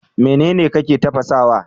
Me kake tafasawa?